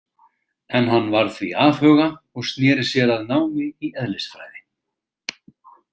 En hann varð því afhuga og sneri sér að námi í eðlisfræði.